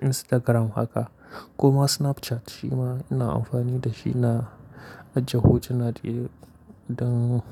Instagram haka kuma Snapchat shi ma ina amfani da shi na ajiye hotuna da idan.